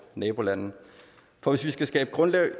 nabolande for hvis vi skal skabe grundlaget